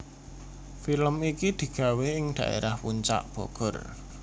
Film iki digawe ing dhaerah Puncak Bogor